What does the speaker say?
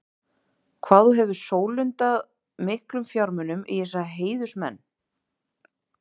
Hvað þú hefur sólundað miklum fjármunum í þessa heiðursmenn.